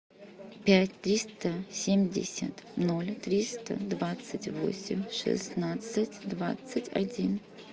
пять триста семьдесят ноль триста двадцать восемь шестнадцать двадцать один